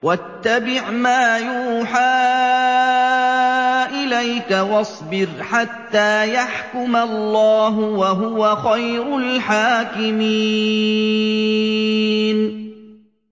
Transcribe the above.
وَاتَّبِعْ مَا يُوحَىٰ إِلَيْكَ وَاصْبِرْ حَتَّىٰ يَحْكُمَ اللَّهُ ۚ وَهُوَ خَيْرُ الْحَاكِمِينَ